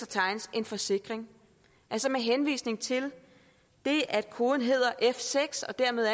tegnet en forsikring altså med henvisning til at koden hedder f6 og dermed